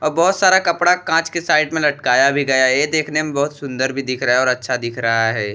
और बहुत सारा कपड़ा काँच के साइड में लटकाया भी गया है ये देखने में बहुत सुन्दर भी दिख रहा है और अच्छा दिख रहा है।